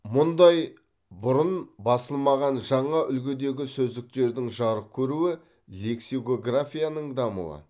мұндай бұрын басылмаған жаңа үлгідегі сөздіктердің жарық көруі лексикографияның дамуы